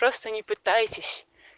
просто не пытайтесь